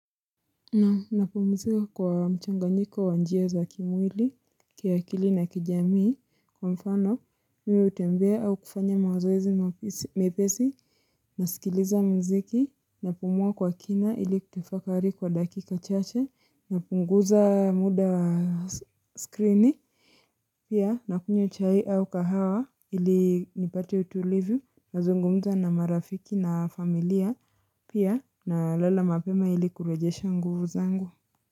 Naam napumuzika kwa mchanganyiko wa njia za kimwili kiakili na kijamii kwa mfano mi hutembea au kufanya mazoezi mepesi Nasikiliza mziki napumua kwa kina ili kutafakari kwa dakika chache napunguza muda wa skrini Pia nakunywa chai au kahawa ili nipate utulivu nazungumza na marafiki na familia pia nalala mapema ili kurejesha nguvu zangu.